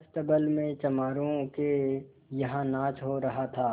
अस्तबल में चमारों के यहाँ नाच हो रहा था